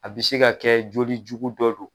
A bi se ka kɛ joli jugu dɔ don